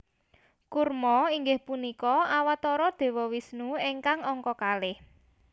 Kurma inggih punika Awatara Dewa Wisnu ingkang angka kalih